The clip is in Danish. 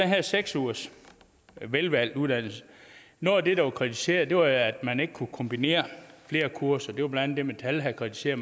her seks ugers velvalgt uddannelse noget af det der blev kritiseret var at man ikke kunne kombinere flere kurser det var blandt det metal havde kritiseret